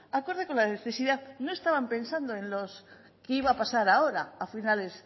acorde con la necesidad no estaban pensando en lo que iba a pasar ahora a finales